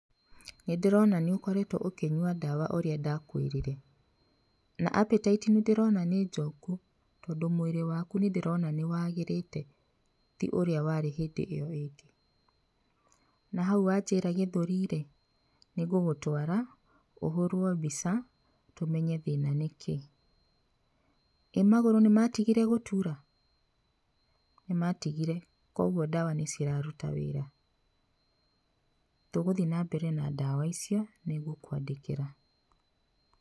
Nĩ ndĩrona nĩ ũkoretwo ũkĩnyua ndawa ũrĩa ndakwĩrire, na appetite nĩ ndĩrona nĩ njoku, tondũ mwĩrĩ waku nĩ ndĩrona nĩ wagĩrĩĩte ti ũrĩa warĩ hĩndĩ ĩo ĩngĩ. Na hau wanjĩra gĩthũri rĩ, nĩ ngũgũtwara, ũhũrwo mbica, tũmenye thĩĩna nĩ kĩ.ĩ magũrũ nĩ matigire gũtuura? Nĩ matigire, kwoguo ndawa nĩ ciraruta wĩra. Tũgũthiĩ na mbere na ndawa icio, nĩ ngũkũandĩkĩra.